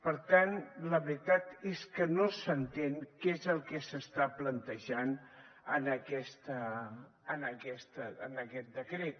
per tant la veritat és que no s’entén què és el que s’està plantejant en aquest decret